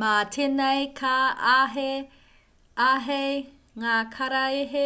mā tēnei ka āhei ngā karaehe